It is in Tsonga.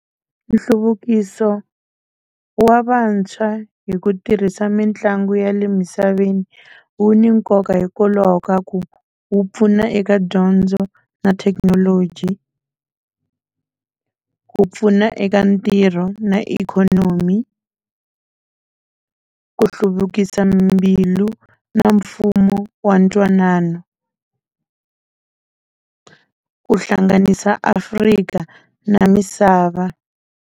Nhluvukiso wa vantshwa hi ku tirhisa mitlangu ya le misaveni wu ni nkoka hikokwalaho ka ku wu pfuna eka dyondzo na thekinoloji ku pfuna eka ntirho na ikhonomi ku hluvukisa mbilu na mfumo wa ntwanano ku hlanganisa Afrika na misava.